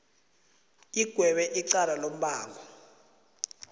igwebe icala lombango